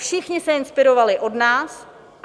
Všichni se inspirovali od nás.